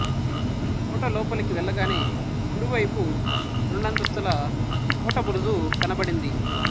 కోట లోపలికి వెళ్లగానే కుడి వైపు రెండంతస్తుల కోట బురుజు కనబడుంది